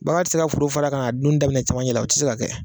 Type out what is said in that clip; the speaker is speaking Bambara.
Bagan tɛ se ka foro fara ka na duni daminɛ cɛmancɛla o tɛ se ka kɛ.